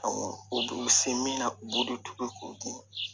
Ɔ u b'u se min na u b'o de tobi k'u dun